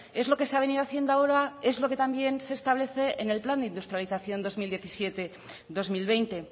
es lo que se ha venido haciendo ahora es lo que también se establece en el plan de industrialización dos mil diecisiete dos mil veinte